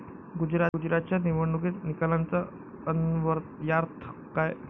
गुजरातच्या निवडणूक निकालांचा अन्वयार्थ काय?